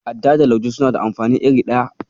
Adda da Lauje suna da amfani iri ɗaya.